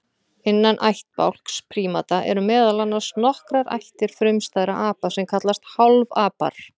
Innan ættbálks prímata eru meðal annars nokkrar ættir frumstæðra apa sem kallast hálfapar.